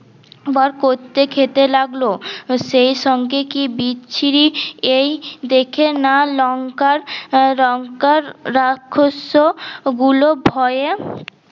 বার করতে খেতে লাগল সেই সঙ্গে কি বিছ্রি এই দেখে না লঙ্কার লঙ্কার রাক্ষস ও গুলো ভয়ে